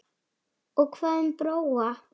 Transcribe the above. Og hvað um Bróa?